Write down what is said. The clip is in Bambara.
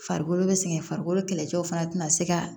Farikolo bɛ sɛgɛn farikolo kɛlɛcɛw fana tɛna se ka